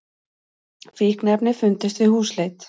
Fíkniefni fundust við húsleit